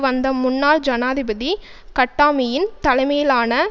வந்த முன்னாள் ஜனாதிபதி கட்டாமியின் தலைமையிலான